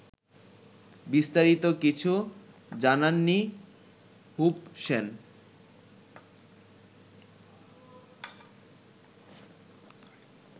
বিস্তারিত কিছু জানাননি হুবশেন